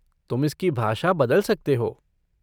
तुम इसकी भाषा बदल सकते हो।